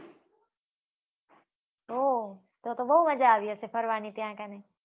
ઓહો તો તો બઉ મજા આવી હશે ફરવા નની ત્યાં કને